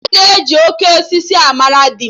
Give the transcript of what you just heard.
Aga eji 'Oke osisi' mara di m